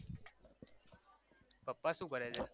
પપ્પા શુ કરે છે